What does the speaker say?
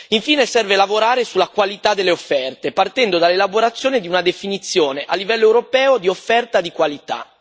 Infine, serve lavorare sulla qualità delle offerte, partendo dall'elaborazione di una definizione a livello europeo di offerta di qualità.